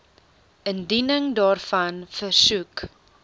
indiening daarvan versoek